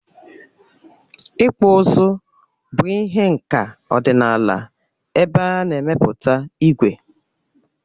Ịkpụ ụzụ bụ ihe nka ọdịnala ebe a na-emepụta ígwè.